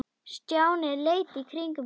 Stjáni leit í kringum sig.